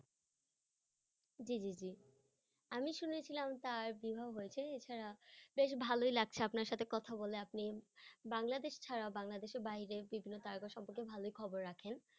জি জি জি আমি শুনেছিলাম তার বিবাহ হয়েছে এছাড়া বেশ ভালোই লাগছে আপনার সাথে কথা বলে আপনি বাংলাদেশ ছাড়া বাংলাদেশের বাইরে বিভিন্ন তারকা সম্পর্কে ভালোই খবর রাখেন।